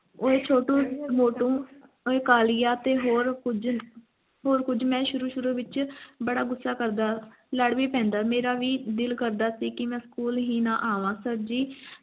ਓਏ ਛੋਟੂ ਮੋਟੂ ਓਏ ਕਾਲੀਆ ਤੇ ਹੋਰ ਕੁਜ ਹੋਰ ਕੁਜ ਮੈਂ ਸ਼ੁਰੂ ਸ਼ੁਰੂ ਵਿਚ ਬਾਰਾ ਗੁੱਸਾ ਕਰਦਾ ਲਾਡ ਵੀ ਪੈਂਦਾ ਤੇ ਮੇਰਾ ਵੀ ਦਿਲ ਕਰਦਾ ਸੀ ਕਿ ਮੈਂ school ਹੀ ਨਹੀਂ ਆਵਾਂ sir ਜੀ